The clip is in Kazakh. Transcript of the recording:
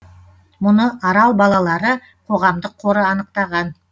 мұны арал балалары қоғамдық қоры анықтаған